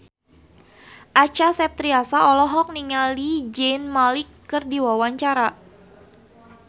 Acha Septriasa olohok ningali Zayn Malik keur diwawancara